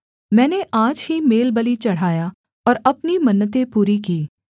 मैंने आज ही मेलबलि चढ़ाया और अपनी मन्नतें पूरी की